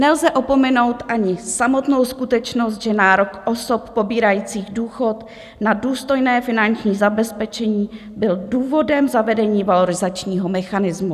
Nelze opomenout ani samotnou skutečnost, že nárok osob pobírajících důchod na důstojné finanční zabezpečení byl důvodem zavedení valorizačního mechanismu.